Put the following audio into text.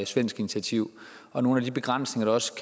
svensk initiativ og nogle af de begrænsninger der også